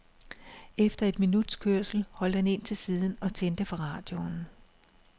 Efter et minuts kørsel holdt han ind til siden og tændte for radioen.